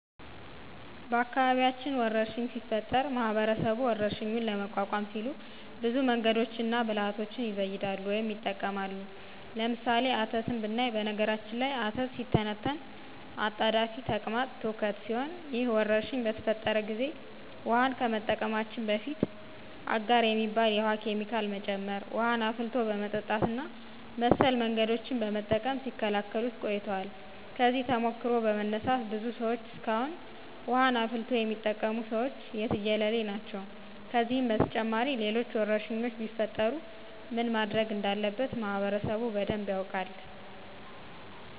በአካባቢያችን ወረርሽኝ ሲፈጠር ማህበረሰቡ ወረርሽኙን ለመቋቋም ሲሉ ብዙ መንገዶችንና ብልሀቶችን ይዘይዳሉ ወይም ይጠቀማሉ። ለምሳሌ፦ አተት ብናይ በነገራችን ላይ አተት ሲተነተን አጣዳፊ ተቅማጥ ትውከት ሲሆን ይህ ወረርሽኝ በተፈጠረ ጊዜ ውሀን ከመጠቀማችን በፊት አጋር የሚባል የውሀ ኬሚካል መጨመር፣ ውሀን አፍልቶ በመጠጣት እና መሰል መንገዶችን በመጠቀም ሲከላከሉት ቆይተዋል። ከዚህ ተሞክሮ በመነሳት ብዙ ሰዎች እስካሁን ውሀን አፍልቶ የሚጠቀሙት ሰዎች የትየለሌ ናቸው። ከዚህም በተጨማሪ ሌሎች ወረርሽኞች ቢፈጠሩ ምን ማድረግ እንዳለበት ማህበረሰቡ በደንብ ያውቃል።